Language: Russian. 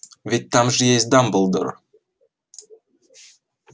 ведь там же есть дамблдор